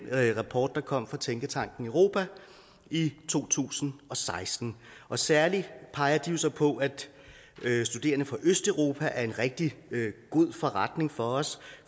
rapport der kom fra tænketanken europa i to tusind og seksten særlig peger de jo så på at studerende fra østeuropa er en rigtig god forretning for os